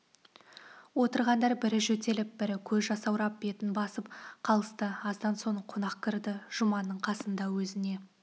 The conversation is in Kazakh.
отырғандар бірі жөтеліп бірі көзі жасаурап бетін басып қалысты аздан соң қонақ кірді жұманның қасында өзіне